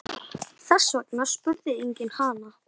Þess vegna spurði enginn hana.